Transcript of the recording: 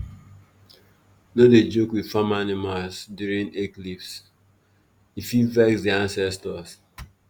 no dey joke with farm animals during eclipse—e fit vex the ancestors.